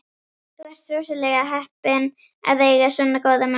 Þú ert rosalega heppinn að eiga svona góða mömmu.